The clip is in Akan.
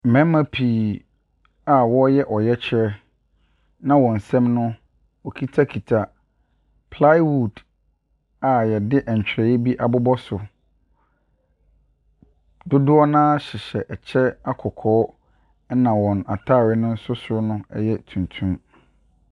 Mmarima pii a wɔreyɛ ɔyɛkyerɛ, na wɔn nsam no wɔkitakita plywood a wɔde ntwerɛeɛ bi abobɔ so. Dodoɔ no ara hyehyɛ ɛkyɛ akɔkɔɔ, ɛna wɔn atadeɛ no nso no yɛ tuntum.